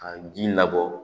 Ka bin labɔ